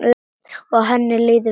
Og henni líður vel.